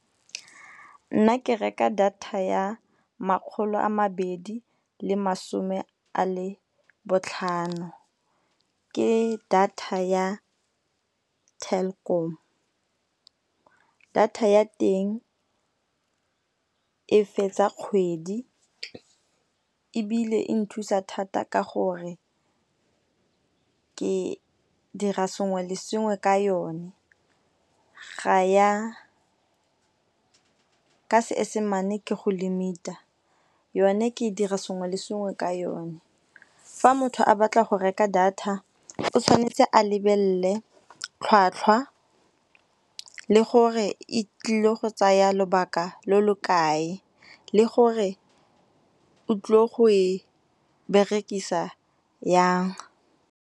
Nna ke reka data ya makgolo a mabedi le masome a le botlhano, ke data ya Telkom. Data ya teng e fetsa kgwedi ebile e nthusa thata ka gore ke dira sengwe le sengwe ka yone. Ka seesemane ke go limit-a yone ke dira sengwe le sengwe ka yone. Fa motho a batla go reka data o tshwanetse a lebelle tlhwatlhwa le gore e tlile go tsaya lobaka lo lo kae le gore o tlo go e berekisa yang.